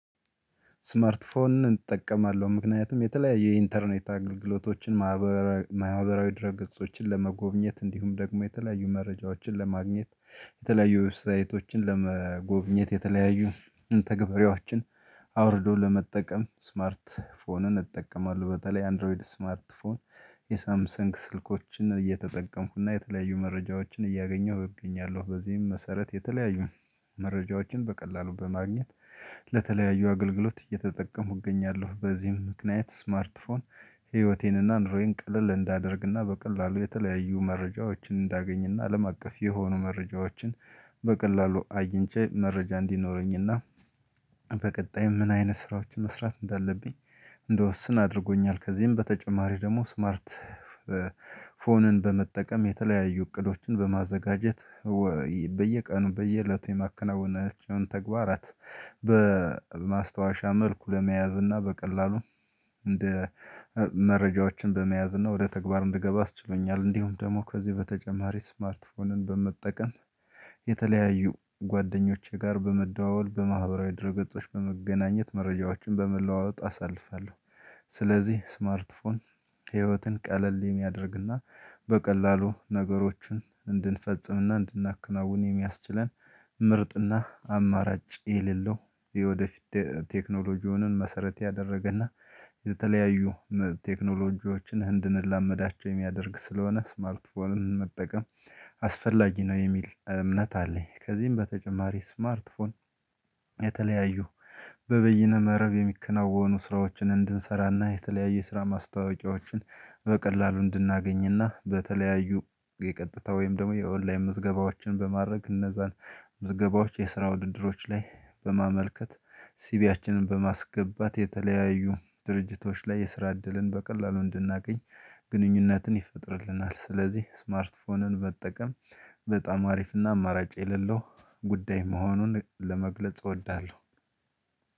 ስማርት ፎን እጠቀማለሁ ምክንያቱም የተለያየ የኢንተርኔት አገልግሎቶችን ማህበራዊ ድረ ገጾችን ለመጎብኘት እንዲሁም ደግሞ የተለያዩ መረጃዎችን ለማግኘት የተለያዩ ዌብ ሳይቶችን ለመጎብኘት የተለያዩ መተገበሪያችን አውርዶ ለመጠቀም ስማርት ፎንን እጠቀማለሁ በተለይ አንድሮይድ ስማርት ፎን የሳምሰንግ ስልኮችን እየተጠቀምኩና የተለያዩ መረጃዎችን እያገኘሁ እገኛለሁ በዚህም መሰረት የተለያዩ መረጃዎችን በቀላሉ በማግኘት ለተለያዩ አገልግሎት እየተጠቀምኩ እገኛለሁ። በዚህም ምክንያት ስማርት ፎን ህይወቴንና ኑሮዬን ቀለል እንዳደርግና በቀላሉ የተለያዩ መረጃዎችን እንዳገኝና አለምአቀፍ የሆኑ መረጃዎችን በቀላሉ አግኝቼ መረጃ እንዲኖረኝና በቀጣይ ምን አይነት ስራዎችን መስራት እንዳለብኝ እንደወስን አድርጎኛል። ከዚህም በተጨማሪ ደግሞ ስማርት ፎንን በመጠቀም የተለያዩ እቅዶችን በማዘጋጀት በየቀኑ በየእለቱ የማከናውናቸውን ተግባራት በማስታወሻ መልኩ ለመያዝ እና በቀላሉ መረጃዎችን በመያዝ እና ወደ ተግባር እንድገባ አስችሎኛል። እንዲሁም ደግሞ ከዚህ በተጨማሪ ስማርትፎንን በመጠቀም የተለያዩ ጓደኞቼ ጋር በመደዋወል በማህበራዊ ድህረገጾች በመገናኘት መረጃዎችን በመለዋወጥ አሳልፋለሁ። ስለዚህ ስማርት ፎን ህይወትን ቀለል የሚያደርግና በቀላሉ ነገሮችን እንድንፈጽምና እንድናከናውን የሚያስችለን ምርጥና አማራጭ የሌለው የወደፊት ቴክኖሎጂውን መሰረት ያደረገና የተለያዩ ቴክኖሎጂዎችን እንድን ላመዳቸው የሚያደርግ ስለሆነ ስማርት ፎንን መጠቀም አስፈላጊ ነው የሚል እምነት አለኝ። ከዚህም በተጨማሪ ስማርት ፎን የተለያዩ በበይነ መረብ የሚከናወኑ ስራዎችን እንድንሰራና የተለያየ ስራ ማስታወቂያዎችን በቀላሉ እንድናገኝና በተለያዩ የቀጥታ ወይም ደግሞ የኦንላይን ምዝገባዎችን በማድረግ እነዛን ምዝገባዎች የስራ ውድድሮች ላይ በማመልከት ሲቢያችንን በማስገባት የተለያዩ ድርጅቶች ላይ የስራ እድልን በቀላሉ እንድናገኝ ግንኙነትን ይፈጥርልናል። ስለዚህ ስማርት ፎንን መጠቀም በጣም አሪፍና አማራጭ የሌለው ጉዳይ መሆኑን ለመግለጽ እወዳለሁ።